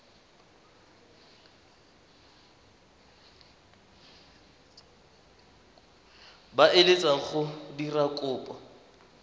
ba eletsang go dira kopo